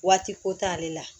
Waati ko t'ale la